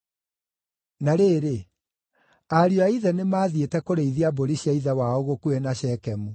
Na rĩrĩ, ariũ a ithe nĩmathiĩte kũrĩithia mbũri cia ithe wao gũkuhĩ na Shekemu,